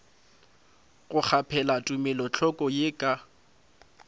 go kgaphela tumelothoko ye ka